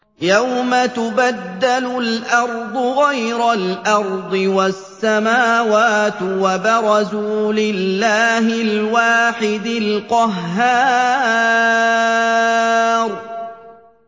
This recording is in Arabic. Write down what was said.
يَوْمَ تُبَدَّلُ الْأَرْضُ غَيْرَ الْأَرْضِ وَالسَّمَاوَاتُ ۖ وَبَرَزُوا لِلَّهِ الْوَاحِدِ الْقَهَّارِ